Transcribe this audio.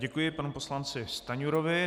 Děkuji panu poslanci Stanjurovi.